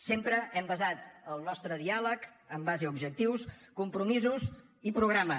sempre hem basat el nostre diàleg en base a objectius compromisos i programa